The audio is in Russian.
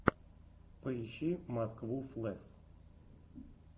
поищи москву флэс